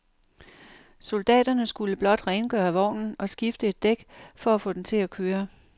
Soldaterne skulle blot rengøre vognen og skifte et dæk for at få den til at køre.